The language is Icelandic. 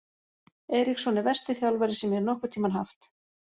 Eriksson er versti þjálfari sem ég hef nokkurn tímann haft.